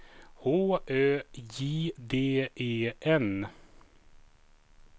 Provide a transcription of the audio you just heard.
H Ö J D E N